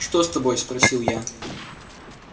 что с тобой спросил я